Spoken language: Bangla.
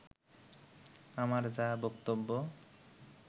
আমার যাহা বক্তব্য